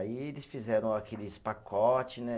Aí eles fizeram aqueles pacote, né?